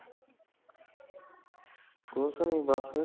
ਕੁਸ਼ਨੀ ਬਸ